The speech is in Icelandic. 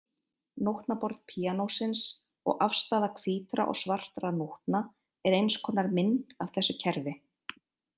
Nótnaborð píanósins og afstaða hvítra og svartra nótna er eins konar mynd af þessu kerfi.